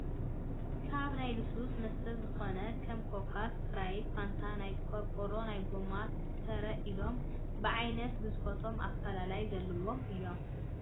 ካብ ናይ ልስሉስ መስተ ዝኮኑ ከም ኮካ ፣ ስፕራይት፣ ፋንታ ፣ ናይ ቆርቆሮ ናይ ጎማን ተረ ኢሎም ብዓይነቶምን ግዝፈቶምን ኣፈላላይ ዘለዎም እዮ።